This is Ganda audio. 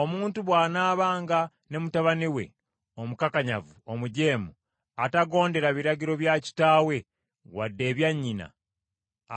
Omuntu bw’anaabanga ne mutabani we omukakanyavu omujeemu atagondera biragiro bya kitaawe wadde ebya nnyina,